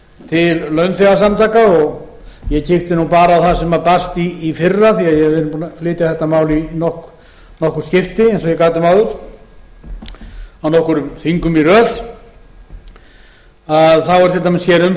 til launþegasamtaka ég kíkti bara á það sem barst í fyrra því að við erum búin að flytja þetta mál í nokkur skipti eins og ég gat um áður á nokkrum þingum í röð hér er til dæmis umsögn